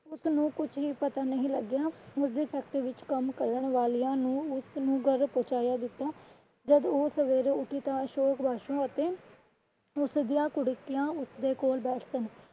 ਉਸਨੂੰ ਕੁਛ ਵੀ ਪਤਾ ਨਹੀਂ ਲਗਿਆ ਉਸਦੇ factory ਵਿੱਚ ਕੰਮ ਕਰਨ ਵਾਲਿਆਂ ਨੇ ਉਸਨੂੰ ਘਰ ਪਹੁੰਚਾਇਆ ਦਿੱਤਾ। ਜੱਦ ਉਹ ਸਵੇਰੇ ਉੱਠੀ ਤਾਂ ਅਸ਼ੋਕ ਵਾਸ਼ੋਂ ਅਤੇ ਉਸਦੀਆਂ ਕੁੜਕੀਆਂ ਓਹਦੇ ਕੋਲ ਬੈਠ ਸਨ।